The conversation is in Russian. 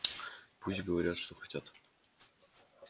пусть говорят что хотят